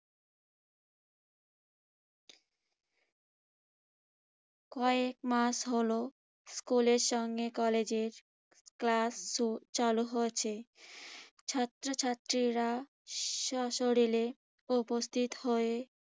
কয়েক মাস হলো স্কুলের সঙ্গে কলেজের ক্লাস চ~চালু হয়েছে। ছাত্রছাত্রীরা স্বশরীরে উপস্থিত হয়ে